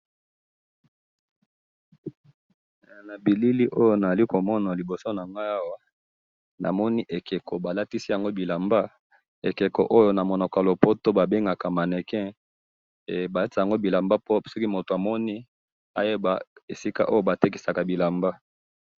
Na bilili oyo nazali komona liboso na ngai awa ,namoni ekeko balatisi yango bilamba ,ekeko oyo na munoko ya lopoto babengaka mannequin balatisa yango bilamba po soki moto amoni ayeba esika oyo batekisaka bilamba